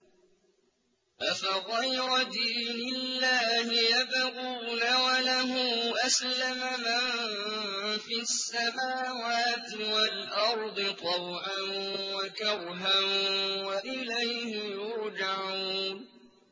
أَفَغَيْرَ دِينِ اللَّهِ يَبْغُونَ وَلَهُ أَسْلَمَ مَن فِي السَّمَاوَاتِ وَالْأَرْضِ طَوْعًا وَكَرْهًا وَإِلَيْهِ يُرْجَعُونَ